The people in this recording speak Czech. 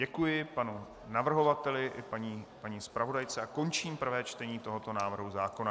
Děkuji panu navrhovateli i paní zpravodajce a končím prvé čtení tohoto návrhu zákona.